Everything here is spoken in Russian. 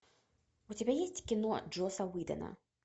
у тебя есть кино джосса уидона